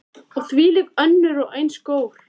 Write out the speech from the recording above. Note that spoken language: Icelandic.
Og þvílík og önnur eins gól.